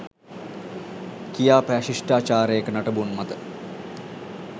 කියා පෑ ශිෂ්ඨාචාරයක නටබුන් මත